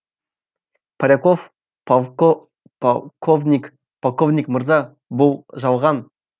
поляков полковник полковник мырза бұл жалған